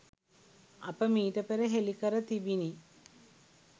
අප මීට පෙර හෙළිකර තිබිනි